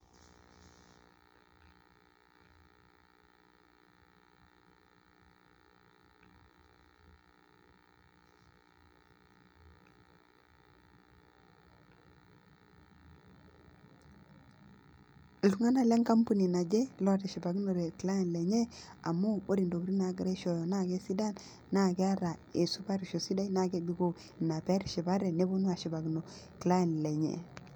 Iltung'anak le enkampuni naje lootishipa amu ore intokiting naagira aishooyo naa kesidan na keeta esupatisho sidai naa kebikoo ina pee etishipate, neponu ashipakino client lenye.